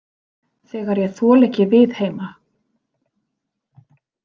Þegar ég þoli ekki við heima.